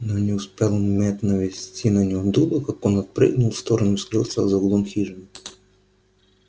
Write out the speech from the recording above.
но не успел мэтт навести на него дуло как он отпрыгнул в сторону и скрылся за углом хижины